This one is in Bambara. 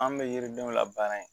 An bɛ yiridenw la baara in